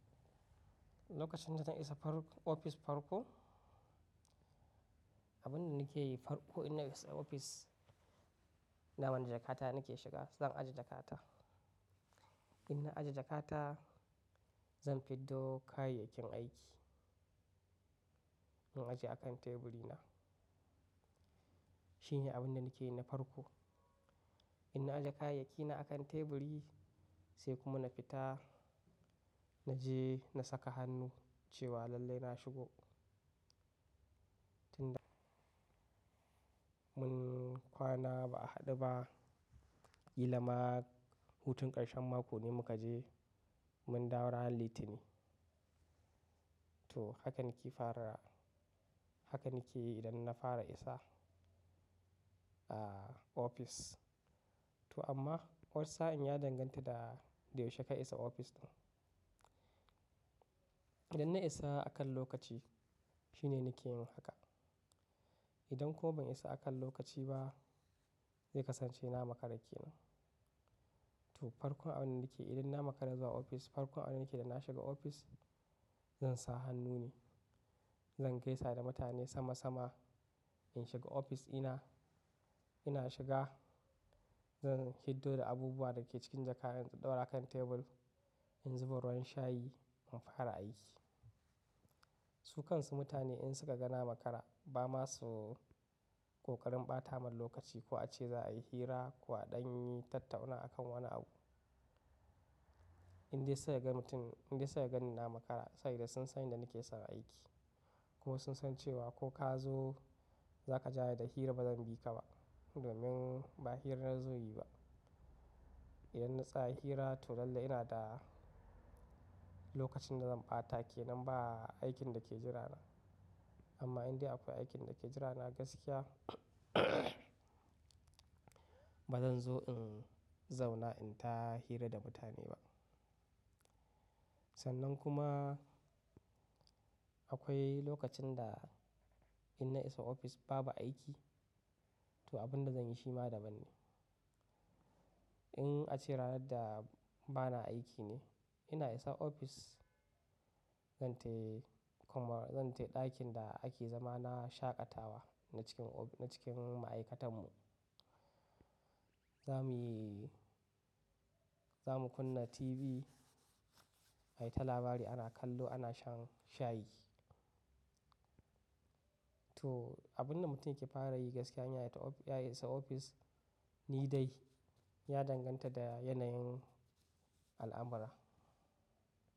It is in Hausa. Lokacin da zan isa ofis farko, abunda nake yi farko idan na isa ofis, ina wani jakata nake shiga, zan ajiye jakata. Idan na ajiye jakata, zan fito da kayayyaki aiki, in ajiye a kan teburi na. Shine abunda nake yi na farko. Idan na ajiye kayayyaki na a kan teburi sai kuma na fita, na je na saka hannu cewa lallai na shigo. Tunda mun kwana ba'a haɗu ba, ƙila ma hutun ƙarshen mako ne muka je, mun dawo ranar Litinin to haka nake fara, haka nake idan na fara isa, ah ofis. To amma wani sa'in ya danganta da yaushe ka isa ofis ɗin. Idan na isa akan lokaci, shine nake yin haka. Idan kuma ban isa akan lokaci ba, zai kasance na makara kenan. To farkon abunda nake idan na makara zuwa ofis, farkon abunda nake da na shiga ofis, zan sa hannu ne. Zan gaisa da mutane sama sama. In shiga ofis ina, ina shiga, zan fito da abubuwa da ke cikin jaka in ɗaura a kan tebur, in zuba ruwan shayi, in fara aiki. Su kansu mutane in suka ga na makara, ba masu ƙoƙarin ɓata min lokaci ko a ce za'a yi hira ko a ɗan yi tattauna akan wani abu. Indai sai ya ga mutum, indai sai ya gani na makara, sai dai sun san inda nake son aiki. Ko sun san cewa ko ka zo, za ka ja da hira bazan bi ka ba, domin ba hirar zai yi ba. Idan na tsaya hira to lallai ina da lokacin da zan ɓata ke nan ba aikin da ke jira na. Amma indai akwai aikin da ke jira na gaskiya, bazan zo in zauna in ta hira da mutane ba. Sannan kuma akwai lokacin da idan na isa ofis babu aiki, to abunda zanyi shi ma daban ne. In a ce ranar da bana aiki ne, ina isa ofis, zan tahi kuma zan tahi ɗakin da ake zama na shaƙatawa na cikin, na cikin ma'aikatan mu. Za muyi, za mu kunna TV, ai ta labari ana kallo, ana shan shayi. To abunda mutum yake fara yi gaskiya in ya yi, ya isa ofis ni dai ya danganta da yanayin al'amara.